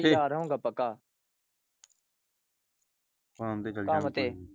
ਪੱਕਾ ਕੰਮ ਤੇ।